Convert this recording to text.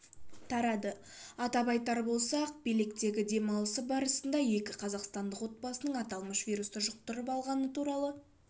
тарады атап айтар болсақ белектегі демалысы барысында екі қазақстандқ отбасының аталмыш вирусты жұқтырып алғаны туралы